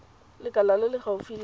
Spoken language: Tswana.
lekala le le gaufi la